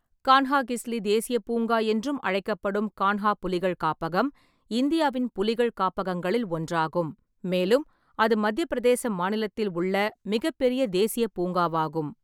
கான்ஹாகிஸ்லி தேசியப் பூங்கா என்றும் அழைக்கப்படும் கான்ஹா புலிகள் காப்பகம் இந்தியாவின் புலிகள் காப்பகங்களில் ஒன்றாகும், மேலும் அது மத்திய பிரதேச மாநிலத்தில் உள்ள மிகப் பெரிய தேசியப் பூங்காவாகும்.